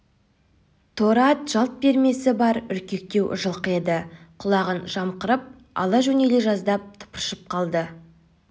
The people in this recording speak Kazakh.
торы ат жалт бермесі бар үркектеу жылқы еді құлағын жымқырып ала жөнеле жаздап тыпыршып қалды